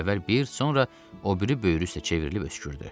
Əvvəl bir, sonra o biri böyrü üstə çevrilib öskürdü.